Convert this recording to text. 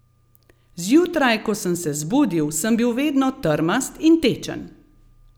Zjutraj, ko sem se zbudil, sem bil vedno trmast in tečen.